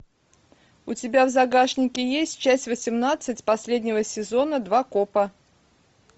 у тебя в загашнике есть часть восемнадцать последнего сезона два копа